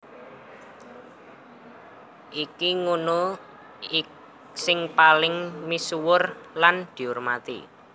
Iki ngunu sing paling misuwur lan diurmati